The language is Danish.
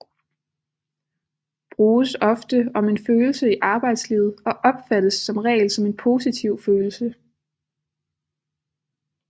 Bruges ofte om en følelse i arbejdslivet og opfattes som regel som en positiv følelse